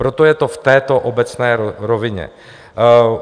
Proto je to v této obecné rovině.